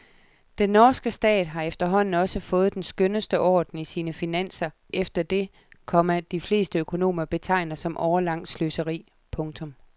Den norske stat har efterhånden også fået den skønneste orden i sine finanser efter det, komma de fleste økonomer betegner som årelangt sløseri. punktum